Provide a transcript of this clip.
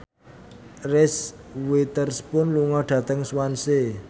Reese Witherspoon lunga dhateng Swansea